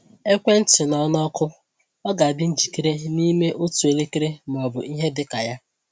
Ekwentị nọ na ọkụ; ọ ga-adị njikere n’ime otu elekere ma ọ bụ ihe dị ka ya.